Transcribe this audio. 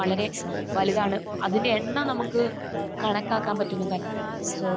വളരെ വലുതാണ്. അതിന്റെ എണ്ണം നമുക്ക് കണക്കാക്കാൻ പറ്റുന്നതല്ല. സോ